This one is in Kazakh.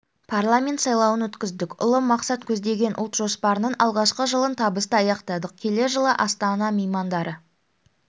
парламент сайлауын өткіздік ұлы мақсат көздеген ұлт жоспарының алғашқы жылын табысты аяқтадық келер жылы астана меймандары